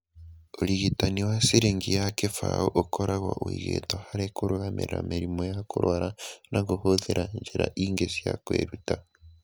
Ũrigitani wa ciringi ya 20 ũkoragwo ũigĩtwo harĩ kũrũgamia mĩrimũ ya kũrũara na kũhũthĩra njĩra ingĩ cia kwĩruta.